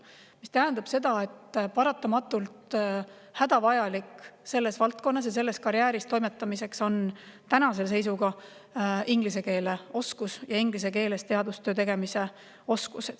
See tähendab seda, et paratamatult hädavajalik selles valdkonnas toimetamiseks ja selles karjääris on tänase seisuga inglise keele oskus ja inglise keeles teadustöö tegemise oskus.